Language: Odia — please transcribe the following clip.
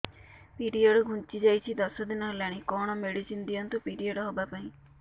ପିରିଅଡ଼ ଘୁଞ୍ଚି ଯାଇଛି ଦଶ ଦିନ ହେଲାଣି କଅଣ ମେଡିସିନ ଦିଅନ୍ତୁ ପିରିଅଡ଼ ହଵା ପାଈଁ